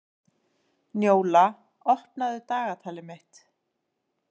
Njóla, opnaðu dagatalið mitt.